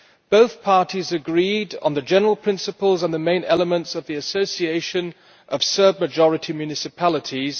Both parties agreed on the general principles on the main elements of the Association of Serb majority Municipalities.